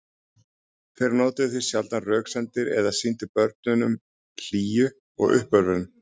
Þeir notuðu því sjaldan röksemdir eða sýndu börnunum hlýju og uppörvun.